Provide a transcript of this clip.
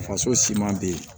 Faso siman bɛ yen